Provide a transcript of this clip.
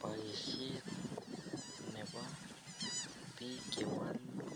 Baishet Nebo bik chewalu